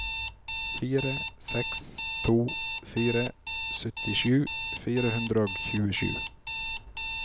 fire seks to fire syttisju fire hundre og tjuesju